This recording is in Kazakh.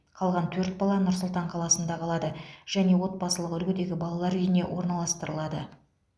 қалған төрт бала нұр сұлтан қаласында қалады және отбасылық үлгідегі балалар үйіне орналастырылады